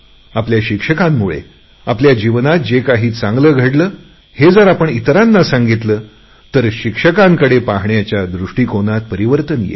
आपल्या शिक्षकांमुळे आपल्या जीवनात जे काही चांगले घडले हे जर आपण इतरांना सांगितले तर शिक्षकांच्याकडे पाहण्याच्या दृष्टीकोनात परिवर्तन येईल